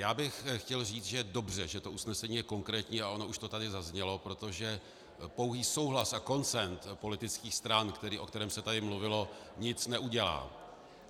Já bych chtěl říct, že je dobře, že to usnesení je konkrétní, a ono už to tady zaznělo, protože pouhý souhlas a konsenzus politických stran, o kterém se tady mluvilo, nic neudělá.